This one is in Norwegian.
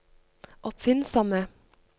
oppfinnsomme